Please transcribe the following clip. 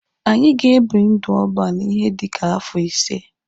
Anyị ga-ebi ndụ ọban ihe dika afọ ise.